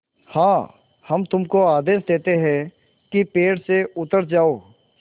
हाँ हम तुमको आदेश देते हैं कि पेड़ से उतर जाओ